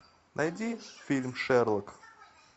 найди фильм шерлок